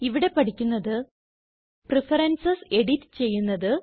ഇവിടെ പഠിക്കുന്നത് preferences edit ചെയ്യുന്നത്